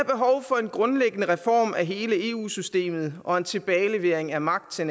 for en grundlæggende reform af hele eu systemet og en tilbagelevering af magt til